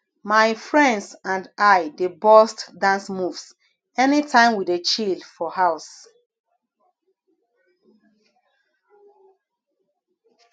my friends and i dey burst dance moves anytime we dey chill for house